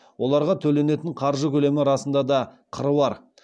оларға төленетін қаржы көлемі расында да қыруар